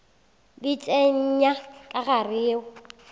di tsenya ka gare yeo